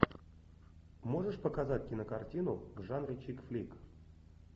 можешь показать кинокартину в жанре чик флик